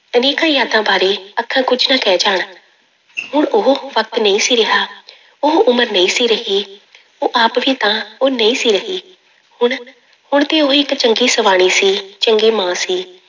ਅਨੇਕਾਂ ਯਾਦਾਂ ਬਾਰੇ ਅੱਖਾਂ ਕੁੱਝ ਨਾ ਕਹਿ ਜਾਣ ਹੁਣ ਉਹ ਵਕਤ ਨਹੀਂ ਸੀ ਰਿਹਾ ਉਹ ਉਮਰ ਨਹੀਂ ਸੀ ਰਹੀ ਉਹ ਆਪ ਵੀ ਤਾਂ ਉਹ ਨਹੀਂ ਸੀ ਰਹੀ, ਹੁਣ ਹੁਣ ਤੇ ਉਹ ਇੱਕ ਚੰਗੀ ਸਵਾਣੀ ਸੀ, ਚੰਗੀ ਮਾਂ ਸੀ।